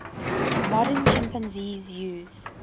modern chimpanzees use